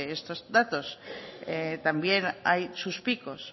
estos datos también hay sus picos